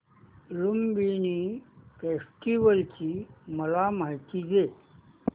Lumbini festival ची मला माहिती दे